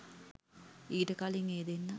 ඊට කලින් ඒ දෙන්නා